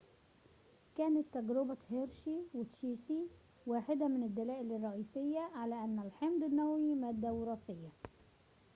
كانت تجربة هيرشي وتشيس واحدة من الدلائل الرئيسية على أن الحمض النووي مادة وراثية